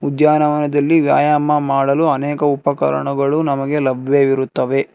ಉದ್ಯಾನವನದಲ್ಲಿ ವ್ಯಾಯಾಮ ಮಾಡಲು ಅನೇಕ ಉಪಕರಣಗಳು ನಮಗೆ ಲಭ್ಯವಿರುತ್ತವೆ.